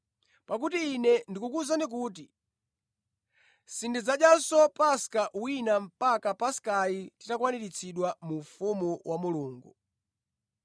Pakuti Ine ndikukuwuzani kuti sindidzadyanso Paska wina mpaka Paskayi itakwaniritsidwa mu ufumu wa Mulungu.”